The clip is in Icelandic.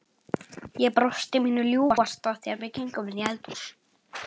Ég brosti mínu ljúfasta þegar við gengum inn í eldhús.